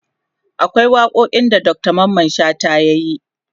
akwai waƙoƙin da Dr Mamman shata yayi